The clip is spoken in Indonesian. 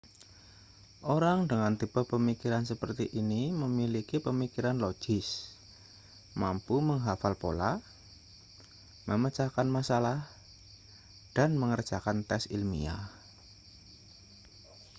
orang dengan tipe pemikiran seperti ini memiliki pemikiran logis mampu menghafal pola memecahkan masalah dan mengerjakan tes ilmiah